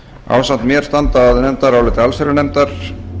ásamt mér standa að nefndaráliti allsherjarnefndar